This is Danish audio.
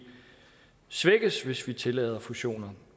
svækkes hvis vi tillader fusioner